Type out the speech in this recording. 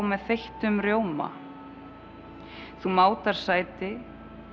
með þeyttum rjóma þú mátar sæti